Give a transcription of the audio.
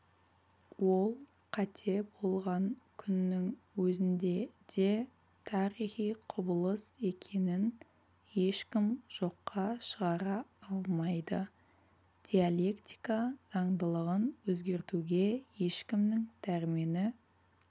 ол қате болған күннің өзінде де тарихи құбылыс екенін ешкім жоққа шығара алмайды диалектика заңдылығын өзгертуге ешкімнің дәрмені